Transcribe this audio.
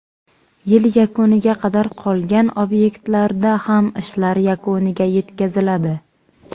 Yil yakuniga qadar qolgan obyektlarda ham ishlar yakuniga yetkaziladi.